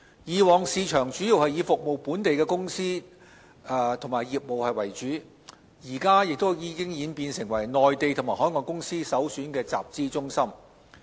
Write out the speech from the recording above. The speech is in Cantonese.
以往市場主要以服務本地的公司及業務為主，現在已演變成為內地及海外公司首選的集資中心。